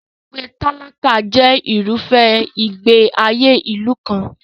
Ibùgbé tálákà jẹ irúfẹ́ ìgbé ayé ìlú kan.